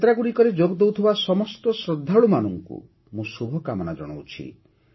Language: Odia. ଏହି ଯାତ୍ରାଗୁଡ଼ିକରେ ଯୋଗଦେଉଥିବା ସମସ୍ତ ଶ୍ରଦ୍ଧାଳୁମାନଙ୍କୁ ମୁଁ ଶୁଭକାମନା ଜଣାଉଛି